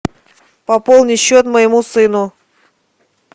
пополни счет моему сыну